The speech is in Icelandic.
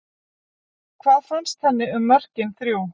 Hvað fannst henni um mörkin þrjú?